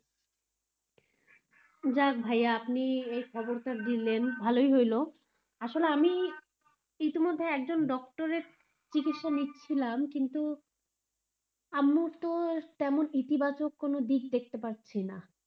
যাক ভাইয়া আপনি এই খবরটা দিলেন ভালোই হইল, আসলে আমি ইতিমধ্যে একজন doctor এর চিকিৎসা নিচ্ছিলাম কিন্তু আম্মুর তো তেমন ইতিবাচক কোনো দিক দেখতে পারছিনা,